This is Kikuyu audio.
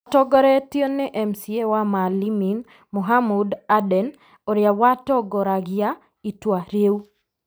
Matongoretio nĩ MCA wa Maalimin Mohamud Aden, ũrĩa watongoragia itua rĩu,